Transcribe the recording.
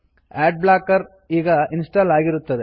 add blocker ಈಗ install ಆಗಿರುತ್ತದೆ